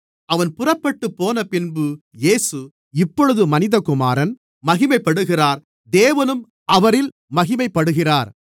அவன் புறப்பட்டுப்போனபின்பு இயேசு இப்பொழுது மனிதகுமாரன் மகிமைப்படுகிறார் தேவனும் அவரில் மகிமைப்படுகிறார்